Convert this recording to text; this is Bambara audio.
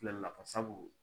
Fɛlɛli la fa sabu